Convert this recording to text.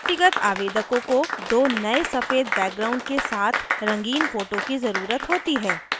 व्यक्तिगत आवेदकों को दो नए सफ़ेद background के साथ रंगीन फोटो की ज़रुरत होती है